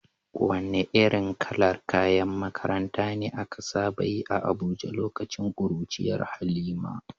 Wane irin kalar kayan makaranta ne aka saba yi a Abuja lokacin kuruciyar Halima?